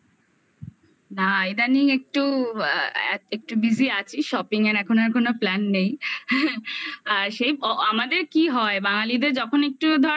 না ইদানিং একটু অ্যা busy আছি shopping এখন আর কোন plan নেই আর সেই আমাদের কি হয়? বাঙালিদের যখন একটু